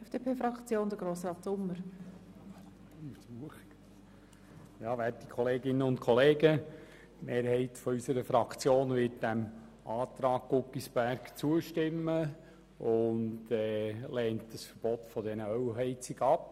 Die Mehrheit unserer Fraktion wird dem Antrag Guggisberg zustimmen und lehnt ein Verbot der Ölheizung ab.